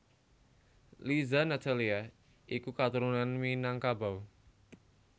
Liza Natalia iku katurunan Minangkabau